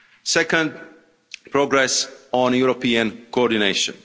Second, progress on European coordination.